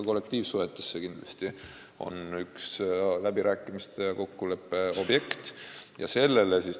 Kollektiivsuhetes on see kindlasti üks läbirääkimiste ja kokkuleppe objekte.